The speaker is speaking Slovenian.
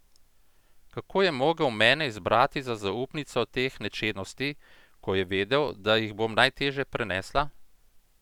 Kako je mogel mene izbrati za zaupnico teh nečednosti, ko je vedel, da jih bom najtežje prenesla?